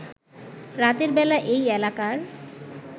রাতের বেলা এই এলাকার